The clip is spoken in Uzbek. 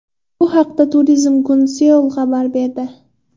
Bu haqda Turizm Guncel xabar berdi .